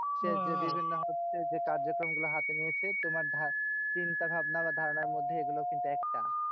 হচ্ছে যে কার্যক্রম গুলো হাতে নিয়েছে, তোমার চিন্তাভাবনা বা ধারণার মধ্যে এগুলো কিন্তু একটা।